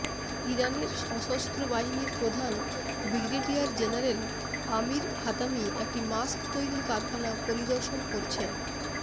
ইরানের সশস্ত্র বাহিনীর প্রধান ব্রিগেডিয়ার জেনারেল আমির হাতামি একটি মাস্ক তৈরির কারখানা পরিদর্শন করছেন